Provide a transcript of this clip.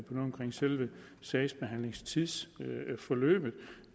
selve sagsbehandlingstiden og forløbet